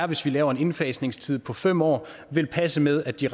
hvis vi laver en udfasningstid på fem år vil passe med at de